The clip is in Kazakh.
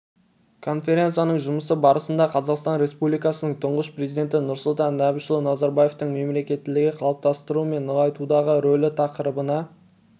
конференцияның жұмысы барысында қазақстан республикасының тұңғыш президенті нұрсұлтан әбішұлы назарбаевтың мемлекеттілікті қалыптастыру мен нығайтудағы рөлі тақырыбында